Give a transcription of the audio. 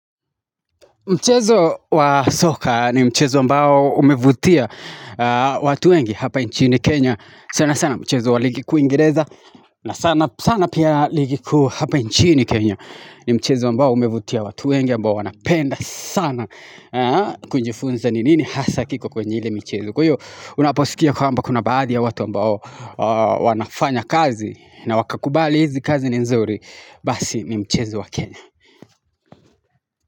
Mchezo wa soka ni mchezo ambao umevutia watu wengi hapa nchini Kenya. Sana sana mchezo wa ligi kuu uingereza na sana sana pia ligi kuu hapa nchini Kenya. Ni mchezo ambao umevutia watu wengi ambao wanapenda sana kunjifunza ni nini hasa kiko kwenye ile michezo. Kwa hiyo unaposikia kwamba kuna baadhi ya watu ambao wanafanya kazi na wakakubali hizi kazi ni nzuri basi ni mchezo wa Kenya.